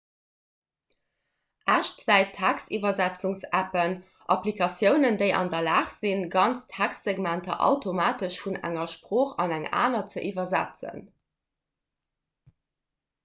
echtzäit-textiwwersetzungs-appen applikatiounen déi an der lag sinn ganz textsegmenter automatesch vun enger sprooch an eng aner ze iwwersetzen